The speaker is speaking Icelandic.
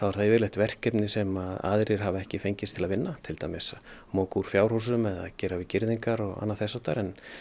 það yfirleitt verkefni sem aðrir hafa ekki fengist til að vinna til dæmis að moka úr fjárhúsum eða gera við girðingar eða annað þess háttar